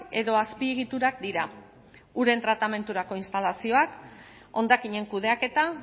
edo azpiegiturak dira uren tratamendurako instalazioak hondakinen kudeaketa